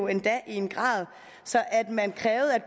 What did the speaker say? endda i en grad så man krævede at